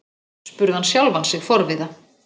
spurði hann sjálfan sig forviða.